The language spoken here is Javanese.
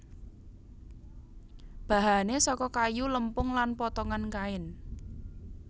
Bahane saka kayu lempung lan potongan kain